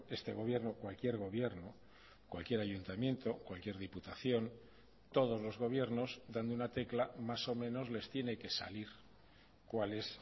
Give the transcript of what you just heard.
este gobierno cualquier gobierno cualquier ayuntamiento cualquier diputación todos los gobiernos dando una tecla más o menos les tiene que salir cuál es